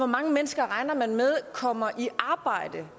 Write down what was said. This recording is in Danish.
mange mennesker regner man med kommer i arbejde